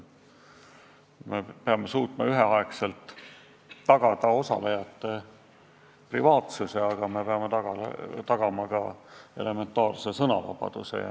Me peame suutma üheaegselt tagada osalejate privaatsuse, aga peame tagama ka elementaarse sõnavabaduse.